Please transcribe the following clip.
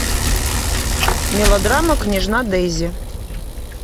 мелодрама княжна дэйзи